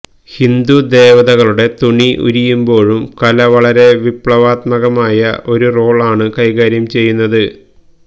ഹിന്ദുദേവതകളുടെ തുണി ഉരിയുമ്പോഴും കല വളരെ വിപ്ലവാത്മകമായ ഒരു റോള് ആണു കൈകാര്യം ചെയ്യുന്നത്